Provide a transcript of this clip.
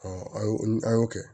an y'o an y'o kɛ